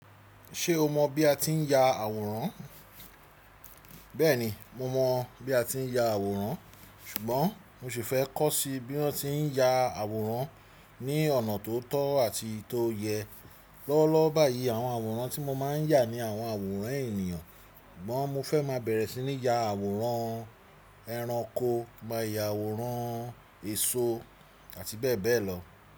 Ṣé o mọ̀ bí a ti ń ya àwòrán? Bẹ́ẹ̀ni, mo mọ̀ bí a ti ń ya àwòrán ṣùgbọ́n mo sì fẹ́ kọ́ sí bí wọ́n ti ń ya àwòrán ní ọ̀nà tó tọ́ àti tó yẹ. Lọ́wọ́lọ́wọ́ báyìí àwọn àwòrán tí mo máa ń yà ni àwọn àwòrán ènìyàn, sugbọ̀n mo fẹ́ má bẹ̀rẹ̀ sí ní ya àwòrán ẹranko, maa yà àwòrán èso àti bẹ́ẹ̀ bẹ́ẹ̀ lọ.